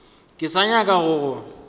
ke sa nyaka go go